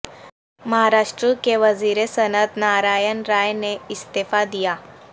مہاراشٹر کے وزیر صنعت نارائن راے نے استعفی د یا